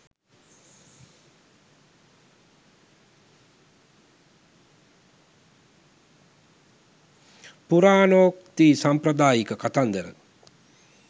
පුරාණෝක්ති සාම්ප්‍රදායික කතන්දර